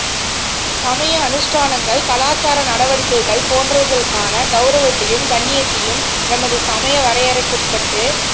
சமய அனுஸ்டானங்கள் கலாசார நடவடிக்கைகள் போன்றவைகளுக்கான கௌரவத்தையும் கண்ணியத்தையும் எமது சமய வரையறைக்குட்பட்டு